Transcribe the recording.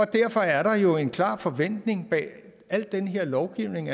derfor er der jo en klar forventning bag al den her lovgivning